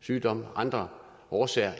sygdom eller andre årsager er